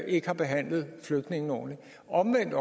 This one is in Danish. ikke har behandlet flygtningene ordentligt og hvordan